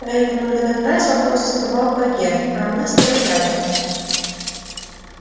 поэтому на этот раз вопросы задавал богерт а она сидела рядом